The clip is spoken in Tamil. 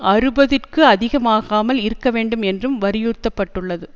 அறுபதிற்கு அதிகமாகாமல் இருக்க வேண்டும் என்றும் வலியுறுத்தப்பட்டது